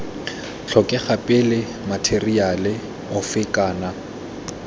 tlhokega pele matheriale ofe kana